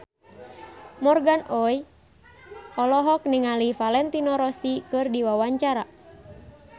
Morgan Oey olohok ningali Valentino Rossi keur diwawancara